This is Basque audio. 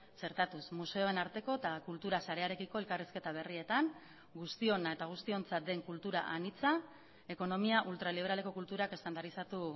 txertatuz museoen arteko eta kultura sarearekiko elkarrizketa berrietan guztiona eta guztiontzat den kultura anitza ekonomia ultraliberaleko kulturak estandarizatu